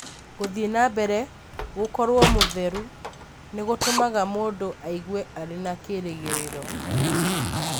Gũthiĩ na mbere gũkorũo mũtheru nĩ gũtũmaga mũndũ aigue arĩ na kĩĩrĩgĩrĩro.